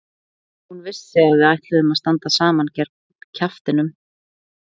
Hún vissi að við ætluðum að standa saman gegn kjaftinum.